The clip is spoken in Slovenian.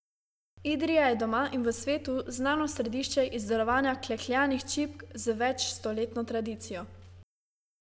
Idrija je doma in v svetu znano središče izdelovanja klekljanih čipk, z večstoletno tradicijo.